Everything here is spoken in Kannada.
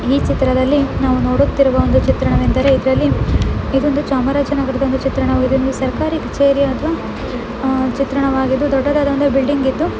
ಈ ಚಿತ್ರದಲ್ಲಿ ನಾವು ನೋಡುತ್ತಿರುವ ಚಿತ್ರಣವೆಂದರೆ ಇದರಲ್ಲಿ ಇದೊಂದು ಚಾಮರಾಜನಗರದ ಚಿತ್ರಣ. ಇದೊಂದು ಸರ್ಕಾರಿ ಕಛೇರಿಯ ಒಂದು ಆಹ್ ಚಿತ್ರಣವಾಗಿದ್ದು ದೊಡ್ಡದಾದ ಬಿಲ್ಡಿಂಗ್ ಇದ್ದು--